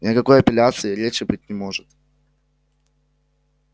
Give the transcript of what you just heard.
ни о какой апелляции и речи быть не может